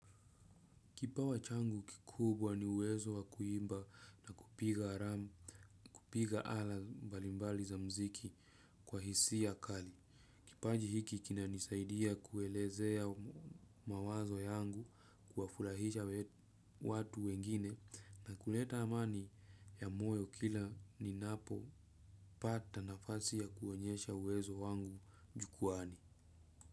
Kipawa changu kikubwa ni uwezo wa kuimba na kupiga ala mbalimbali za muziki kwa hisia kali. Kipaji hiki kinanisaidia kuelezea mawazo yangu kuwafurahisha watu wengine na kuleta amani ya moyo kila ninapopata nafasi ya kuonyesha uwezo wangu jukwaani.